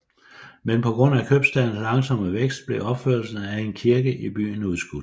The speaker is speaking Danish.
Men på grund af købstadens langsomme vækst blev opførelsen af en kirke i byen udskudt